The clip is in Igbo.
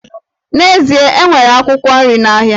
N'ezie, e nwere akwụkwọ nri n'ahịa